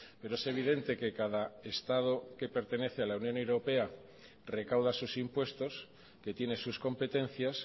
pero es evidente que cada estado que pertenece a la unión europea recauda sus impuestos que tiene sus competencias